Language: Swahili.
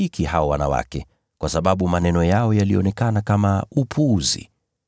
Lakini hawakuwasadiki hao wanawake, kwa sababu maneno yao yalionekana kama upuzi.